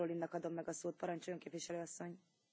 Frau Präsidentin, werte Kommissarin!